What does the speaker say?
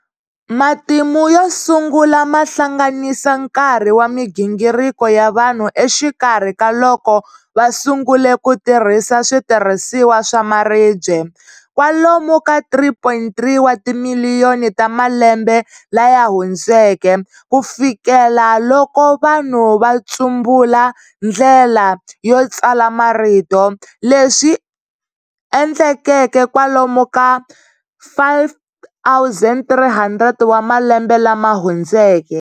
Matimu yo sungula mahlanganisa nkarhi wa migingiriko ya vanhu exikarhi ka loko vasungule kutirhisa switirhisiwa swa maribye-kwalomu ka 3.3 wa timiliyoni ta malembe laya hundzeke, kufikela loko vanhu va tsumbula ndlela yo tsala marito, leswi endlekeke kwalomu ka 5300 wa malembe lama hundzeke.